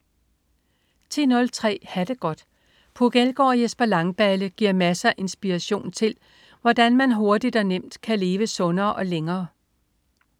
10.03 Ha' det godt. Puk Elgård og Jesper Langballe giver masser af inspiration til, hvordan man hurtigt og nemt kan leve sundere og længere